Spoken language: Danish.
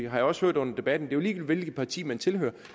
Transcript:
har jeg også hørt under debatten hvilket parti man tilhører